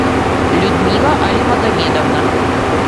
людмила алимагомедовна